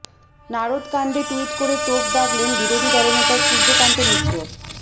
নারদকাণ্ডে tweet করে তোপ দাগলেন বিরোধী দলনেতা সূর্যকান্ত মিশ্র